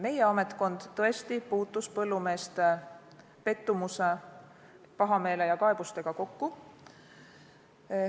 Meie ametkond tõesti puutus põllumeeste pettumuse, pahameele ja kaebustega kokku.